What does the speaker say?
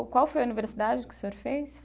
Qual foi a universidade que o senhor fez?